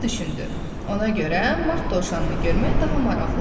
Ona görə Mart dovşanını görmək daha maraqlıdır.